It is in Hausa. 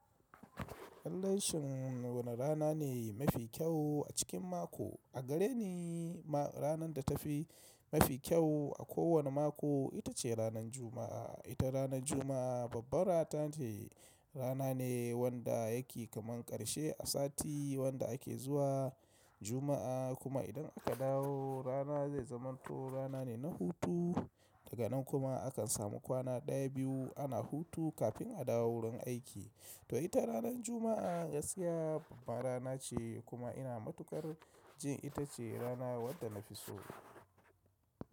Lallai sin wane rana ne mafi kyau a cikin mako? A gare ni ranar da ta fi mafi kyau a kowane mako ita ce ranar Juma'a. Ita ranar Juma'a babbar rana ce, rana ne wanda yake kaman ƙarshe a sati wanda ake zuwa Juma'a kuma idan aka dawo rana zai zamanto rana ne na hutu daga nan kuma akan samu kwana ɗaya biyu ana hutu kafin a dawo wurin aiki. To ita ranar Juma'a gaskiya babbar rana ce kuma ina matukar jin ita ce rana wadda na fi so.